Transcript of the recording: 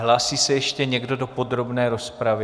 Hlásí se ještě někdo do podrobné rozpravy?